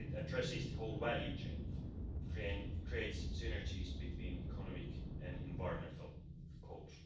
It addresses the whole value chain and creates synergies between economic and environmental goals.